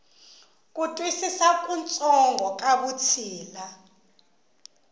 ku twisisa kutsongo ka vutshila